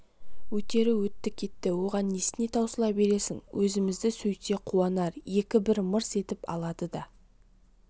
өтері өтті кетті оған несіне таусыла бересің өзімізді сөйтсе қуанар екі бір мырс етіп алады да